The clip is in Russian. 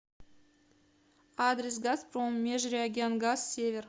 адрес газпром межрегионгаз север